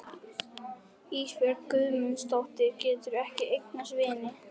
Ísbjörg Guðmundsdóttir getur ekki eignast vini.